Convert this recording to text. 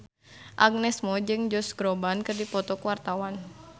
Agnes Mo jeung Josh Groban keur dipoto ku wartawan